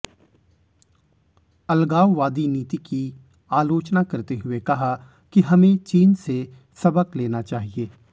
अलगाववादी नीति की आलोचना करते हुए कहा कि हमें चीन से सबक लेना चाहिए